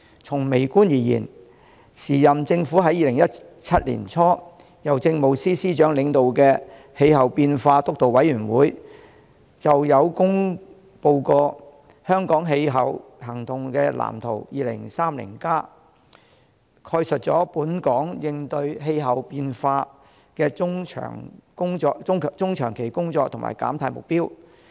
從微觀而言，現屆政府在2017年年初，由政務司司長領導的氣候變化督導委員會制訂《香港氣候行動藍圖 2030+》，概述本港應對氣候變化的中長期工作和減碳目標。